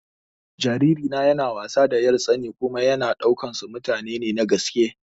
Jariri na yana wasa da 'yartsana kuma yana ɗaukan su mutane ne na gaske.